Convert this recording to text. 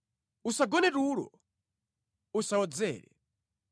Usagone tulo, usawodzere.